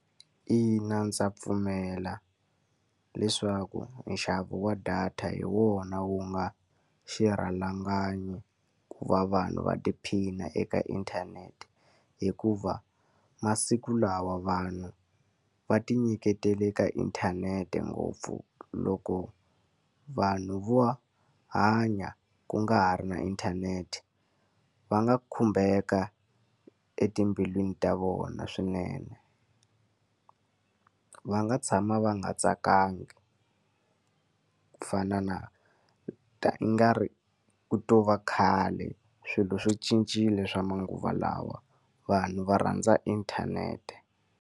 Ina ndza pfumela leswaku nxavo wa data hi wona wu nga xirhalanganyi ku va vanhu va tiphina eka inthanete. Hikuva masiku lawa vanhu va tinyiketele ka inthanete ngopfu. Loko vanhu vo hanya ku nga ha ri na inthanete, va nga khumbeka etimbilwini ta vona swinene. Va nga tshama va nga tsakangi ku fana na ingari ku to va khale. Swilo swo cincile swa manguva lawa, vanhu va rhandza inthanete.